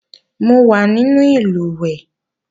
Mo wà nínú ìlùwẹ̀ẹ̀